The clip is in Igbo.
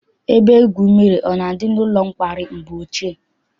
Ebe igwu mmiri na-adị n'ụlọ nkwari mgbe ochie?